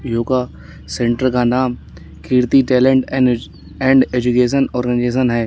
Yoga centre का नाम Kirti talent and age and education organisation है।